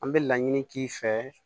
An bɛ laɲini k'i fɛ